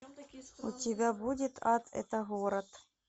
у тебя будет ад это город